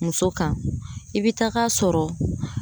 Muso kan i bɛ tag'a sɔrɔ